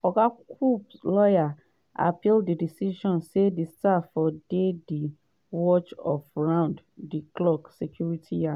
oga comps lawyer appeal di decision say di star fo dey di watch of round di clock security yeam.